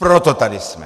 Proto tady jsme!